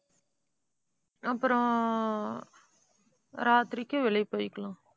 அப்புறம் ராத்திரிக்கு வெளியே போயிக்கலாம்